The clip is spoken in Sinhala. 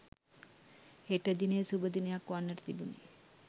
හෙට දිනය සුභ දිනයක් වන්නට තිබුණි.